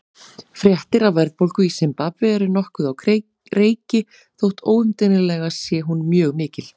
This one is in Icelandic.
Fréttir af verðbólgu í Simbabve eru nokkuð á reiki þótt óumdeilanlega sé hún mjög mikil.